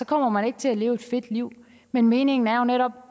kommer man ikke til at leve et fedt liv men meningen er jo netop